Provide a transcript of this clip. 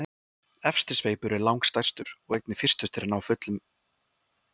efsti sveipur er langstærstur og einnig fyrstur að ná fullum þroska